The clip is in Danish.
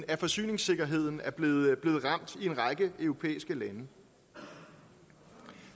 at forsyningssikkerheden er blevet ramt i en række europæiske lande